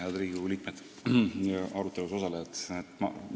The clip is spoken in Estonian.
Head Riigikogu liikmed ja arutelus osalejad!